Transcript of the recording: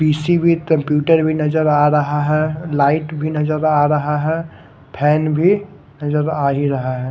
PC भी computer भी नजर आ रहा है लाइट भी नजर आ रह है फेन भी नजर आ ही रहा है।